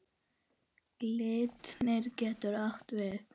Glitnir getur átt við